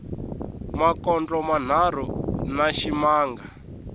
makondlo manharhu na ximanga